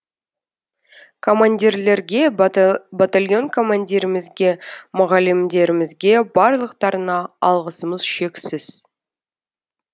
командирлерге батальон командирімізге мұғалімдерімізге барлықтарына алғысымыз шексіз